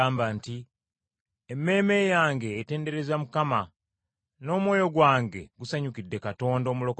“Emmeeme yange etendereza Mukama. N’omwoyo gwange gusanyukidde Katonda omulokozi wange,